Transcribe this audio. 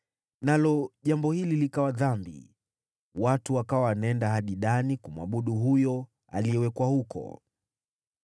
Nalo jambo hili likawa dhambi, watu wakawa wanaenda hadi Dani kumwabudu huyo aliyewekwa huko.